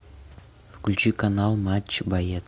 включи канал матч боец